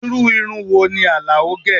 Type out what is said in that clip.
Irú irun wo ni Alao gẹ?